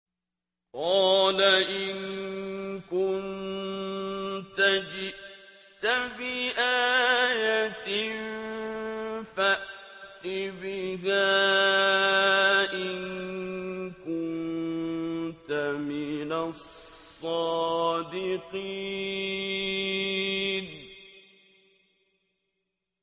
قَالَ إِن كُنتَ جِئْتَ بِآيَةٍ فَأْتِ بِهَا إِن كُنتَ مِنَ الصَّادِقِينَ